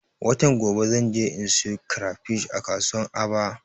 Watan gobe zan je in siyo kirefish a kasuwan aba